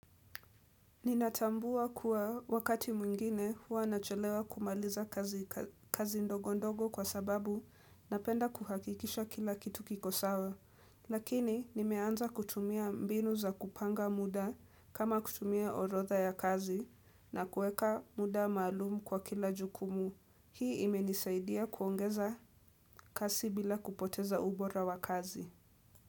Ninatambua kuwa wakati mwingine huwa nacholewa kumaliza kazi ndogo ndogo kwa sababu napenda kuhakikisha kila kitu kiko sawa. Lakini nimeanza kutumia mbinu za kupanga muda kama kutumia orotha ya kazi na kuweka muda maalum kwa kila jukumu. Hii imenisaidia kuongeza kasi bila kupoteza ubora wa kazi.